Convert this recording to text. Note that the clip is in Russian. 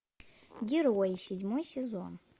герои седьмой сезон